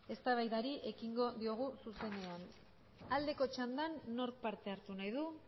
eztabaidari ekingo diogu zuzenean aldeko txandan nork parte hartu nahi du